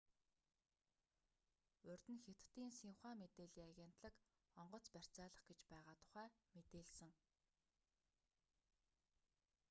урд нь хятадын синьхуа мэдээллийн агентлаг онгоц барьцаалах гэж байгаа тухай мэдээлсэн